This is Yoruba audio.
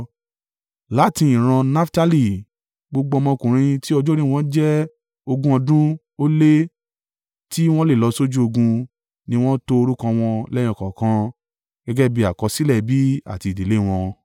Láti ìran Naftali, gbogbo ọmọkùnrin tí ọjọ́ orí wọn jẹ́ ogún ọdún ó lé, tí wọ́n lè lọ sójú ogun ni wọ́n to orúkọ wọn lẹ́yọ kọ̀ọ̀kan gẹ́gẹ́ bí àkọsílẹ̀ ẹbí àti ìdílé wọn.